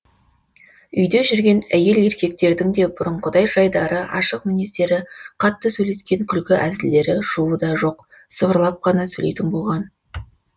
үйде жүрген әйел еркектердің де бұрынғыдай жайдары ашық мінездері қатты сөйлескен күлкі әзілдері шуы да жоқ сыбырлап қана сөйлейтін болған